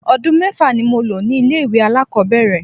Odun mẹ́fà ni mo lò ní ilé ìwẹ̀ alákòbẹ̀rẹ̀.